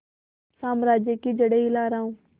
साम्राज्य की जड़ें हिला रहा हूं